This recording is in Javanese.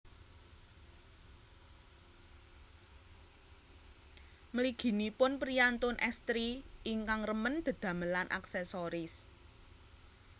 Mliginipun priyantun estri ingkang remen dedamelan aksesoris